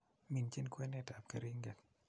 Minjin kwenetab keringet